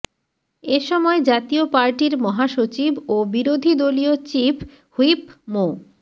এ সময় জাতীয় পার্টির মহাসচিব ও বিরোধীদলীয় চিফ হুইপ মো